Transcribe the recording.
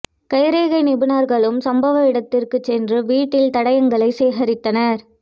கைரேகை நிபுணா்களும் சம்பவ இடத்துக்குச் சென்று வீட்டில் தடயங்களைச் சேகரித்தனா்